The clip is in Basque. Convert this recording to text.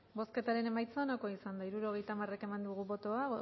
bozketaren emaitza onako izan da hirurogeita hamar eman dugu bozka